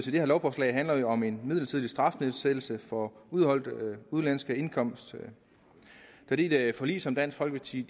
her lovforslag handler jo om en midlertidig strafnedsættelse for udeholdt udenlandsk indkomst fordi det er et forlig som dansk folkeparti